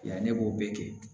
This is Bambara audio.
Yan ne b'o bɛɛ kɛ